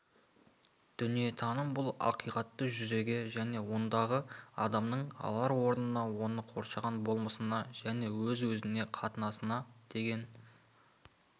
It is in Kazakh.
дүниетаным бұл ақиқатты дүниеге және ондағы адамның алар орнына оны қоршаған болмысына және өз-өзіне қатынасына деген